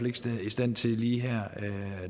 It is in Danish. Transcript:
ikke i stand til lige her